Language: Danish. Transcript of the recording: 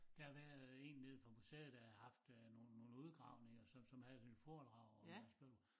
Der har været en nede fra museet der har haft øh nogen nogen udgravninger som som havde sådan et foredrag om han skriver